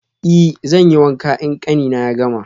I, zanyi wanka in ƙanina ya gama.